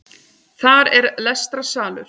Þar er lestrarsalur